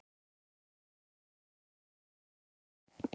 Elsku Dagný er látin.